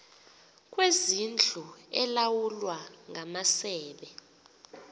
kwezindlu elawulwa ngamasebe